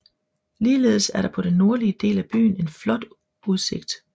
Ligeledes er der på den nordlige del af byen en flot udsigtsområde